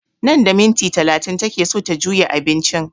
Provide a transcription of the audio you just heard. Nan da minti talatin take so ta juya abincin